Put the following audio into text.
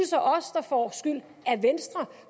så os der får skylden af venstre